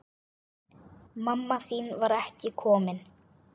Mamma þín var ekki komin.